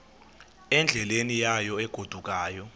endleleni yayo egodukayo